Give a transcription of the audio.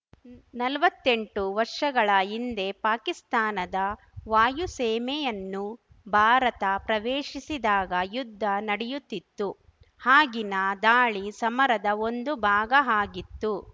ನಲ್ವತ್ತೆಂಟು ವರ್ಷಗಳ ಹಿಂದೆ ಪಾಕಿಸ್ತಾನದ ವಾಯುಸೀಮೆಯನ್ನು ಭಾರತ ಪ್ರವೇಶಿಸಿದಾಗ ಯುದ್ಧ ನಡೆಯುತ್ತಿತ್ತು ಆಗಿನ ದಾಳಿ ಸಮರದ ಒಂದು ಭಾಗ ಆಗಿತ್ತು